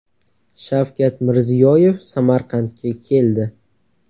Shavkat Mirziyoyev Samarqandga keldi.